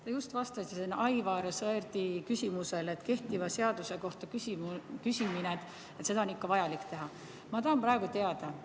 Te just vastasite Aivar Sõerdi küsimusele, et kehtiva seaduse kohta on ikka vaja küsida.